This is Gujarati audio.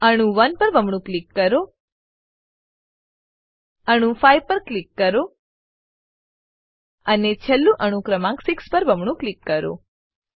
અણુ 1 પર બમણું ક્લિક કરો અણુ 5 પર ક્લિક કરો અને છેલ્લે અણુ ક્રમાંક 6 પર બમણું ક્લિક કરો